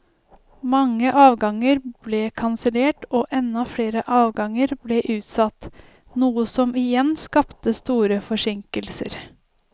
Mange avganger ble kansellert og enda flere avganger ble utsatt, noe som igjen skapte store forsinkelser.